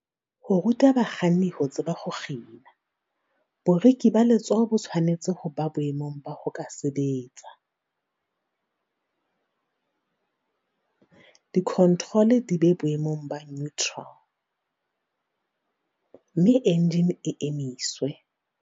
Ho ruta bakganni ho tseba "ho kgina". Boriki ba letsoho bo tshwanetse ho ba boemong ba ho ka sebetsa, di-controle di be boemong ba "neutral", mme enjine e emiswe.